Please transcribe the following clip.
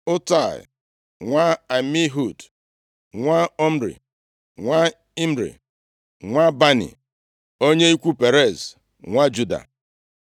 Utai nwa Amihud, nwa Omri, nwa Imri, nwa Bani, onye ikwu Perez, nwa Juda.